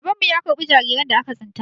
Babanmu ya karɓi jariran da aka tsinta.